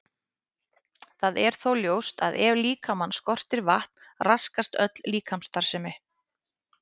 Það er þó ljóst að ef líkamann skortir vatn raskast öll líkamsstarfsemi.